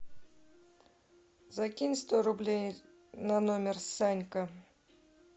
закинь сто рублей на номер санька